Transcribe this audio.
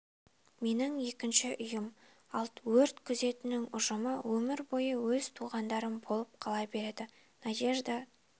менің екінші үйім ал өрт күзетінің ұжымы өмір бойы өз туғандарым болып қала береді надежда